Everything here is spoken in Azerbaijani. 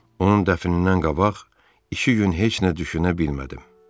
Onun dəfnindən qabaq iki gün heç nə düşünə bilmədim.